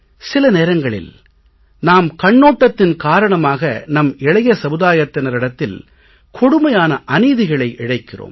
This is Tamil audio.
சில நேரங்களில் நாம் கண்ணோட்டத்தின் காரணமாக நம் இளைய சமுதாயத்தினரிடத்தில் கொடுமையான அநீதிகளை இழைக்கிறோம்